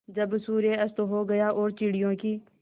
जब सूर्य अस्त हो गया और चिड़ियों की